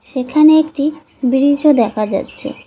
সেখানে একটি ব্রিজও দেখা যাচ্ছে।